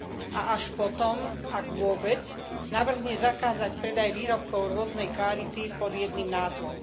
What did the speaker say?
A až potom ak vôbec navrhne zakázať predaj výrobkov rôznej kvality pod jedným názvom.